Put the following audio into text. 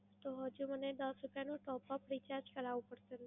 તો હજુ મને દસ રૂપયાનો top up recharge કરવું પડશે?